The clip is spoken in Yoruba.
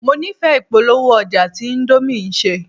Mo nífẹ̀ẹ́ ìpolówó-ọjà tí índómì ṣe.